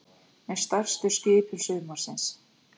Með stærstu skipum sumarsins